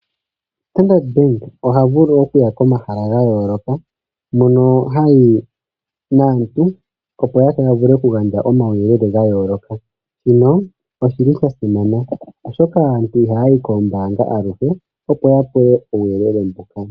Standard Bank, oha vulu oku ya komahala ga yooloka, mono ha yi naantu, opo ya vule oku gandja omauyelele ga yooloka. Shino oshi li sha simana, oshoka aantu ihaa yi koombaanga aluhe, opo ya pewe uuyelele mbuka.